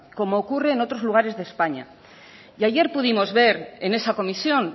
como ocurre en otros lugares de españa y ayer pudimos ver en esa comisión